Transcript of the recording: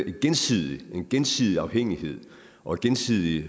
jo gensidig gensidig afhængighed og gensidige